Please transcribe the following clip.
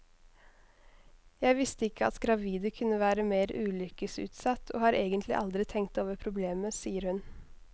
Jeg visste ikke at gravide kunne være mer ulykkesutsatt, og har egentlig aldri tenkt over problemet, sier hun.